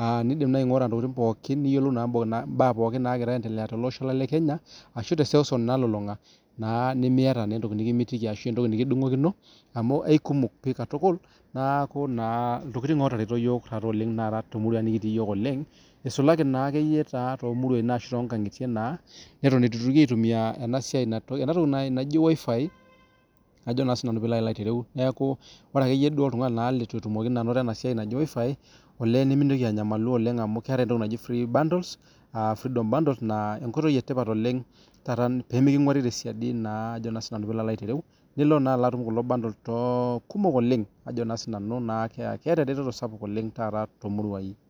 aa niindim nai aing'ura intokitin pookin niyiolou naa mbaa pookin naagira aendelea tolosho lang' le kenya ashu te seuseu nalulung'a naa nemiyata naa entoki nekimitiki ashu entoki nekidung'okino amu aikumok pii katukul, naaku naa iltokitik ootareto iyiok taata oleng' naa too muruan nekitii iyiok oleng' isulaki naake iyie taa toomuruain ashu too nkang'itie naa neton itu itoki aitumia ena siai na ena toki nai naji wifi ajo naa sinanu piilo alo aitereu. Neeku ore ake yie duo oltung'ani naa litu etumoki anoto ena siai naji wifi, olee nemintoki anyamalu oleng' amu keetai entoki naji free bundles aa freedom bundles naa enkoitoi e tipat oleng' taata pee meking'uari te siadi naa ajo naa sinanu piilo alo aitereu nilo naa alo atum kulo bundles too kumok oleng. Kajo naa sinanu naa ke keeta ereteto sapuk oleng' taata too muruain.